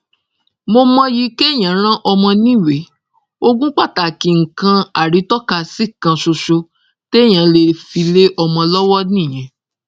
mo mọyì kéèyàn rán ọmọ níwèé ogún pàtàkì nǹkan àrítọ́kasí kan ṣoṣo téèyàn lè fi lé ọmọ lọwọ nìyẹn